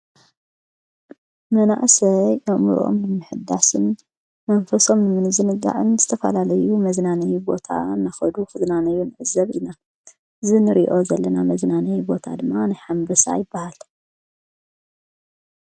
መናእስይ ኣእምርኦም ንሚሕዳስን መንፈሶም ምኒ ዝንጋዕን ዝተፋላለዩ መዝናነይ ቦታ እናኸዱ ፍዝናነዩ ንእዘብ ኢና ዝን ሪዮ ዘለና መዝናነይ ቦታ ድማ ንሓንበሳ ይበሃል።